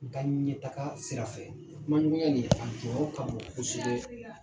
N ka ɲɛtaga sira fɛ kumaɲɔgɔnya nin a jɔyɔrɔ ka bon kosɛbɛ.